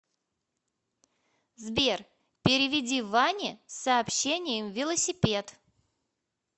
сбер переведи ване с сообщением велосипед